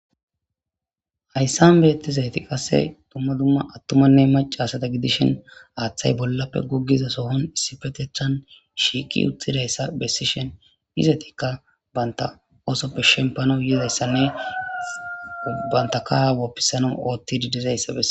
Hayssan bethizaythi qasse dumma dumma athumanne maca assatha gidishin haththay bollape gogiza sohon issipethethan shiqi uthidaysa besishe izzathkka bantha ossope shempanawu yizaythane bantha kaha wopisanawu othidi dizzaysa besses.